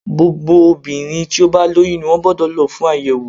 Gbogbo obìnrin tí ó bá lóyún ni wọ́n gbódò lo fún àyèwò